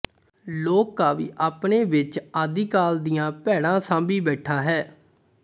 ਲੋਕ ਕਾਵਿ ਆਪਣੇ ਵਿੱਚ ਆਦਿ ਕਾਲ ਦੀਆਂ ਪੈੜਾਂ ਸਾਂਭੀ ਬੈਠਾ ਹੈ